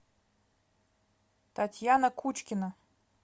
татьяна кучкина